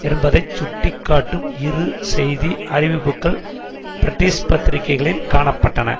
என்பதை சுட்டிக்காட்டும் இரு செய்தி அறிவிப்புக்கள் பிரிட்டிஷ் பத்திரிகைளில் காண பட்டன